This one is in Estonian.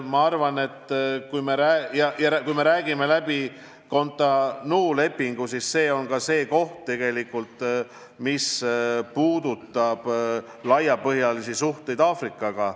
Ma arvan, et kui me räägime läbi Cotonou lepingu, siis puudutame ka laiapõhjalisi suhteid Aafrikaga.